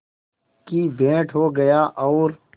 की भेंट हो गया और